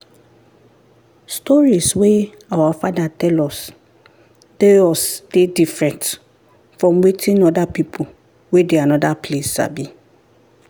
stories wey our fathers tell us dey us dey different from wetin other people wey dey another place sabi.